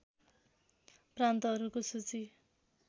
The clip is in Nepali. प्रान्तहरूको सूची